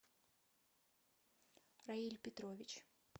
раиль петрович